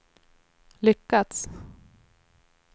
lyckats